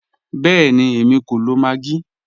Bẹẹ̀ni, èmi kò lọ maggi.